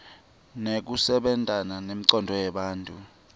nekusebenta kwencondvo yemuntfu